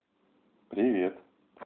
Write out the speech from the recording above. привет